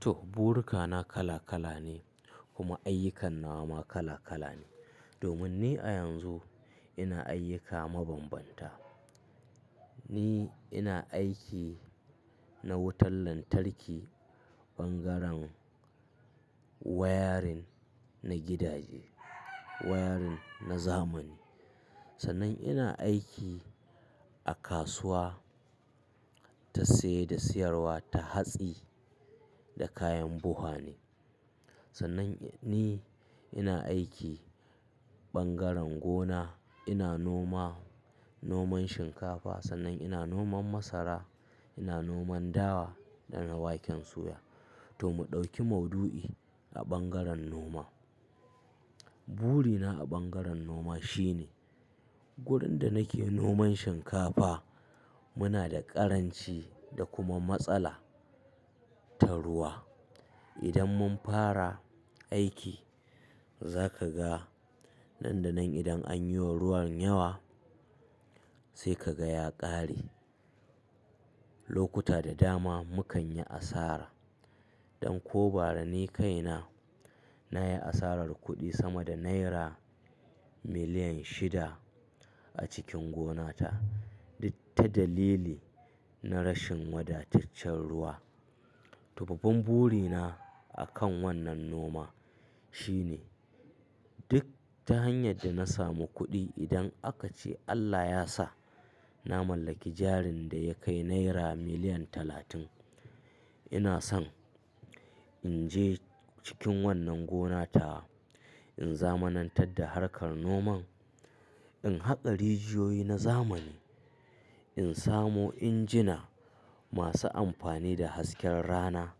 To burika na kala kala ne kuma ayyukan nawa ma kala kala ne. Domin ni a yanzu ina ayyuka mabanbanta, ni ina aiki na wutar lantarki, bangaren wayarin na gidaje, wayarin na zamani. Sannan ina aiki a kasuwa ta saye da siyarwa ta hatsi da kayan buha ne. Sannan ni ina aiki bangaren gona, ina noma, noman shinkafa. Sannan ina noman masara, ina noman dawa da na waken soya. To mu ɗauki mauɗu'i a bangaren noma. Burina a bangaren noma shine wurin da nake noman shinkafa, muna da ƙaranci da kuma matsala ta ruwa. Idan mun fara aiki za ka ga nan da nan idan an yi wa ruwan yawa sai ka ga ya ƙare. Lokuta da dama mukan yi asara. Ɗan ko bara ni kaina, na yi asarar kuɗi sama da naira miliyan shida a cikin gonata duk ta dalili na rashin wadataccen ruwa. To babban burina akan wannan noma shine duk ta hanyar da na samu kuɗi idan aka ce Allah ya sa na mallaki jarin da ya kai naira miliyan talatin, ina son in je cikin wannan gonatawa, in zamanantar da harkar noman, in haƙa rijiyoyi na zamani, in samo injina masu amfani da hasken rana,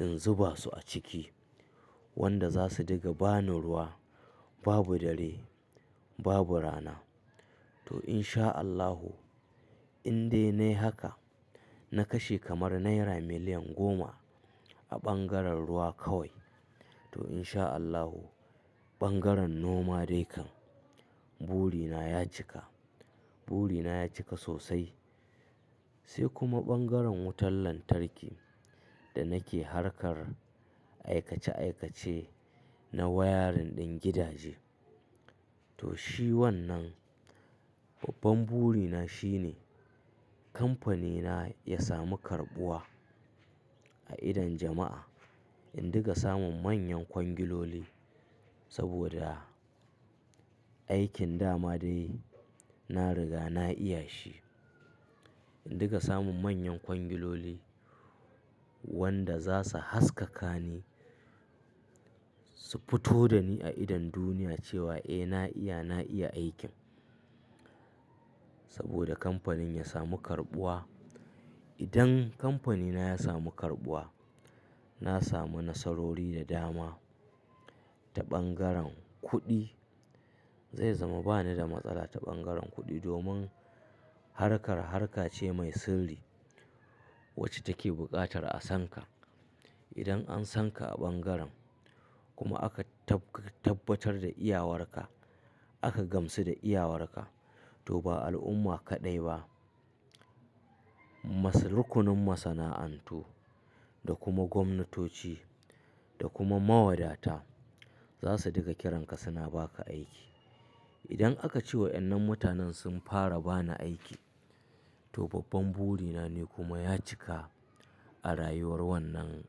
in zuba su a ciki wanda za su dinga ba ni ruwa. Babu dare, babu rana. To in sha Allahu in dai na yi haka, na kashe kamar naira miliyan goma a bangaren ruwa kawai. To in sha Allahu bangaren noma dai kam burina ya cika, burina ya cika sosai. Sai kuma bangaren wutar lantarki da nake harkar aikace aikace na wayarin ɗin gidaje. To shi wannan babban burina shine kamfanina ya samu karɓuwa a idon jama'a. In dinga samun manyan kwangiloli saboda aikin dama dai na riga na iya shi. In dinga samun manyan kwangiloli wanda za su haskaka ni, su fito da ni a idon duniya cewa eh na iya, na iya aikin. Saboda kamfanin ya samu karɓuwa. Idan kamfanina ya samu karɓuwa, na samu nasarori da dama ta bangaren kuɗi. Zai zama ba ni da matsala ta bangaren kuɗi domin harkar harkace mai sirri wacce take buƙatar a san ka. Idan an san ka a bangaren kuma aka tabbatar da iyawarka, aka gamsu da iyawarka to ba al'umma kaɗai ba, masu rukunin masana'antu da kuma gwamnatoci da kuma mawadata za su dinga kiranka suna ba ka aiki. Idan aka ce waɗannan mutanen sun fara ba ni aiki, to babban burina ne kuma ya cika a rayuwar wannan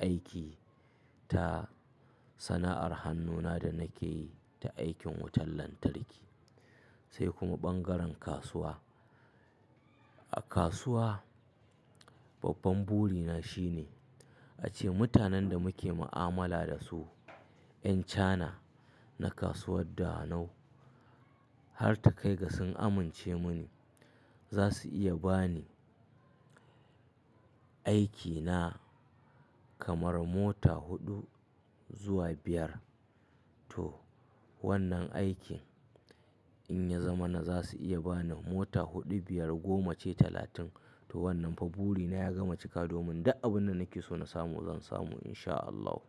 aiki ta sana'ar hannuna da nake yi da aikin wutar lantarki sai kuma bangaren kasuwa. A kasuwa babban burina shine ace mutanen da muke ma'amala da su, 'yan Cana na kasuwar Dawanau har takai ga sun amince mani za su iya ba ni aiki na kamar mota huɗu zuwa biyar. To wannan aikin in ya zama na za su iya ba ni mota huɗu, biyar, goma ce, talatin. To wannan fa burina ya gama cika domin duk abin da nake so na samu zan samu in sha Allahu.